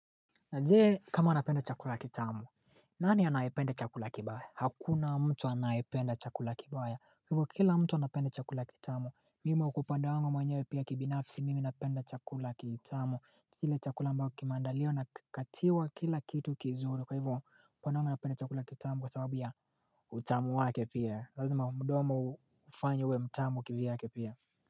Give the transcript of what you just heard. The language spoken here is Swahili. Jee kama napenda chakula kitamu nani anayependa chakula kibaya? Hakuna mtu anaipenda chakula kibaya. Kwa hivyo kila mtu anapenda chakula kitamu. Mimi kwa upande wangu mwenyewe pia kibinafisi mimi napenda chakula kitamu. Kile chakula ambacho kimeandaliwa na kikatiwa kila kitu kizuri. Kwa hivyo pande wangu napenda chakula kitamu kwa sababu ya utamu wake pia. Lazima mdomo ufanywe uwe mtamu kivyake pia.